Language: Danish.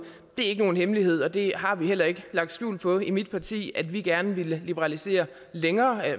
det ikke nogen hemmelighed og det har vi heller ikke lagt skjul på i mit parti at vi gerne ville liberalisere